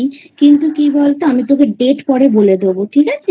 কিন্তু কী বল তো আমি তোকে Date পরে বলে দেব ঠিক আছে?